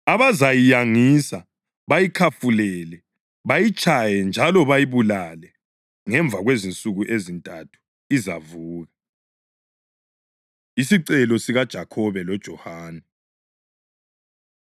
abazayiyangisa, bayikhafulele, bayitshaye njalo bayibulale. Ngemva kwensuku ezintathu izavuka.” Isicelo SikaJakhobe LoJohane